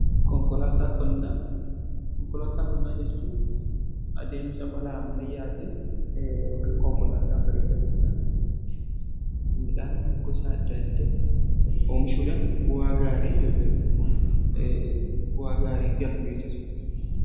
Konkolaataa qonnaa jechuun adeemsa malaa ammayyaatiin ykn konkolaataa fayyadamuudhaan oomisha midhaanii gosa adda addaa oomishuudhan bu'aa gaarii argasmiisuudha.